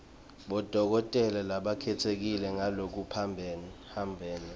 bodokotela labakhetsekile ngalokuphambene